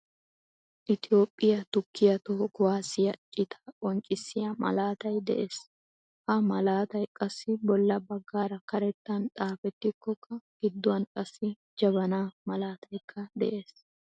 Itoophphiyaa tukkiyaa toho kuwaasiyaa citaa qonccisiyaa malaatay de'ees. Ha malaatay qassi bolla baggaara karettan xaafetikokka giduwaan qassi jabanaa malataykka de'ees.